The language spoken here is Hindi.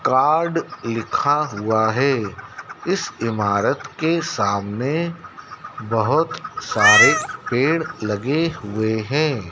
कार्ड लिखा हुआ है इस इमारत के सामने बहुत सारे पेड़ लगे हुए हैं।